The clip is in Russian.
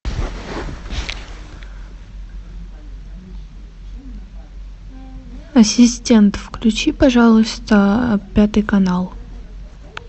ассистент включи пожалуйста пятый канал